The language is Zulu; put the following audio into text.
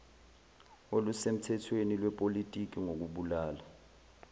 olusemthethweni lwepolitiki ngokubulala